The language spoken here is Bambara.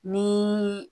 Ni